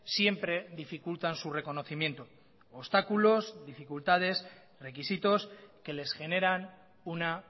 siempre dificultan su reconocimiento obstáculos dificultades requisitos que les generan una